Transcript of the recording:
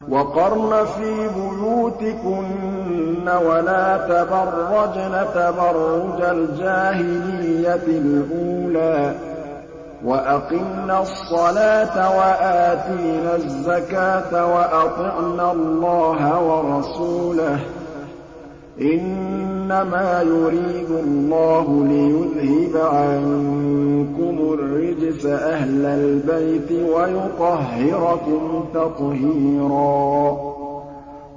وَقَرْنَ فِي بُيُوتِكُنَّ وَلَا تَبَرَّجْنَ تَبَرُّجَ الْجَاهِلِيَّةِ الْأُولَىٰ ۖ وَأَقِمْنَ الصَّلَاةَ وَآتِينَ الزَّكَاةَ وَأَطِعْنَ اللَّهَ وَرَسُولَهُ ۚ إِنَّمَا يُرِيدُ اللَّهُ لِيُذْهِبَ عَنكُمُ الرِّجْسَ أَهْلَ الْبَيْتِ وَيُطَهِّرَكُمْ تَطْهِيرًا